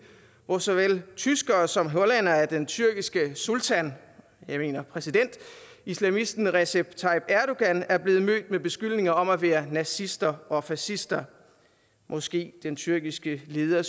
hvor såvel tyskere som hollændere af den tyrkiske sultan jeg mener præsident islamisten recep tayyip erdogan er blevet mødt med beskyldninger om at være nazister og fascister måske den tyrkiske leder